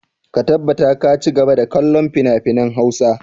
Ka tabbata ka ci gaba da kallon finafinan Hausa!